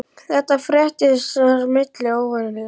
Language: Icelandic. Þetta fréttist og það er mikil óánægja.